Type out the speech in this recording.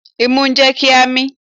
Imú jẹ́ kí a mín.